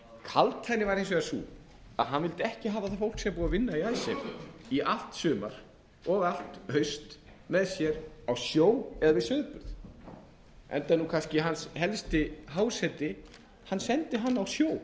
kaldhæðnin var hins vegar sú að hann vildi ekki hafa það fólk sem var búið að vinna í icesave í allt sumar og í allt haust með sér á sjó eða við sauðburð enda er kannski hans helsti háseti hann sendi hann á sjó